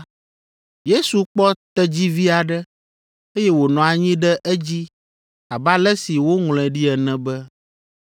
Yesu kpɔ tedzivi aɖe, eye wònɔ anyi ɖe edzi abe ale si woŋlɔe ɖi ene be,